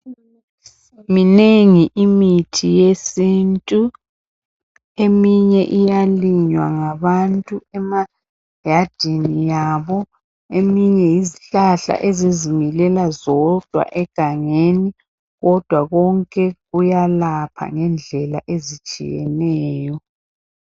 Minengi imithi yesintu eminye iyalinywa ngabantu emayadini abo eminye yizihlahla ezizimilela zodwa egangeni. Kodwa konke kuyalapha ngendlela ezitshiyeneyo.